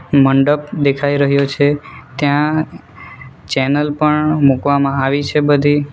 મંડપ દેખાઈ રહ્યો છે ત્યાં ચેનલ પણ મૂકવામાં આવી છે બધી.